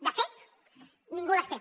de fet ningú les té